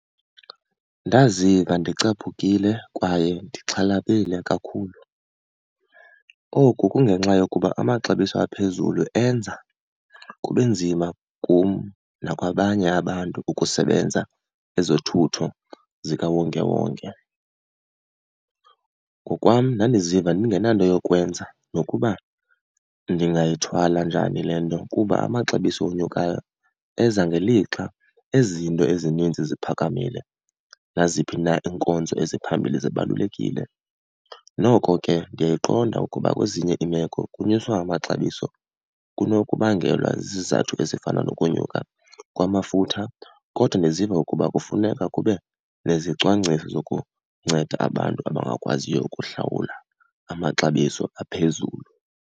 Ndaziva ndicaphukile kwaye ndixhalabile kakhulu. Oku kungenxa yokuba amaxabiso aphezulu enza kube nzima kum nakwabanye abantu ukusebenza ezothutho zikawonkewonke. Ngokwam, ndandiziva ndingenanto yokwenza nokuba ndingayithwala njani le nto, kuba amaxabiso onyukayo eza ngelixa izinto ezininzi ziphakamile. Naziphi na iinkonzo eziphambili zibalulekile, noko ke ndiyayiqonda ukuba kwezinye iimeko ukunyuswa amaxabiso kunokubangelwa zizizathu ezifana nokunyuka kwamafutha, kodwa ndiziva ukuba kufuneka kube nezicwangciso zokunceda abantu abangakwaziyo ukuhlawula amaxabiso aphezulu.